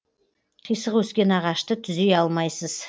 қисық өскен ағашты түзей алмайсыз